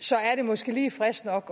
så er det måske lige frisk nok